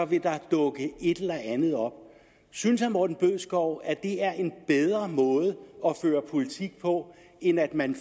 vil der dukke et eller andet op synes herre morten bødskov at det er en bedre måde at føre politik på end at man